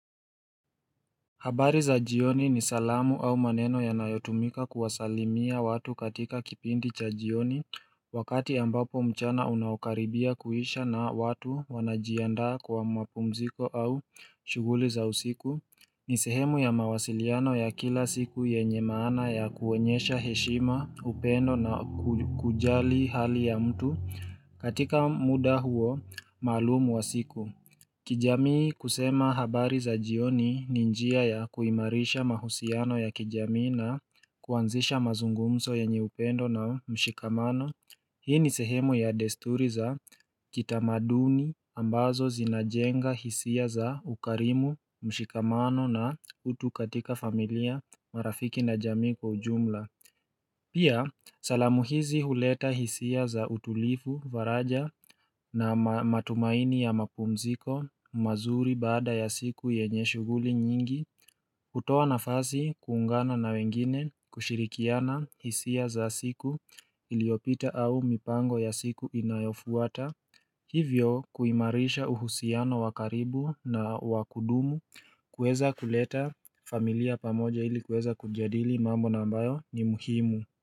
Habari za jioni ni salamu au maneno ya nayotumika kuwasalimia watu katika kipindi cha jioni Wakati ambapo mchana unawakaribia kuhisha na watu wanajianda kwa mwapumziko au shuguli za usiku ni sehemu ya mawasiliano ya kila siku yenye maana ya kuwenyesha heshima upendo na kujali hali ya mtu katika muda huo maalumu wa siku kijamii kusema habari za jioni ni njia ya kuimarisha mahusiano ya kijamii na kuanzisha mazungumso ya enye upendo na mshikamano Hii ni sehemu ya desturi za kitamaduni ambazo zinajenga hisia za ukarimu mshikamano na utu katika familia marafiki na jamii kwa ujumla Pia salamuhizi huleta hisia za utulifu varaja na matumaini ya mapumziko mazuri baada ya siku yenye shuguli nyingi kutoa na fasi kuungana na wengine kushirikiana hisia za siku iliopita au mipango ya siku inayofuata Hivyo kuimarisha uhusiano wakaribu na wakudumu kueza kuleta familia pamoja ili kueza kujadili mambo nambayo ni muhimu.